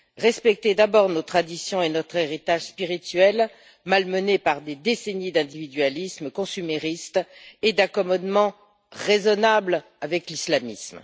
Respectons d'abord nos traditions et notre héritage spirituel malmenés par des décennies d'individualisme consumériste et d'accommodements raisonnables avec l'islamisme.